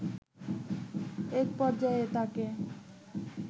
একপর্যায়ে তাকে